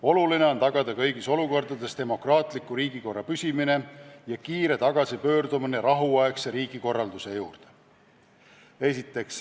Oluline on tagada kõigis olukordades demokraatliku riigikorra püsimine ja kiire tagasipöördumine rahuaegse riigikorralduse juurde.